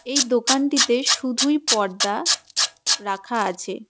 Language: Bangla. এই দোকানটিতে শুধুই পর্দা রাখা আছে.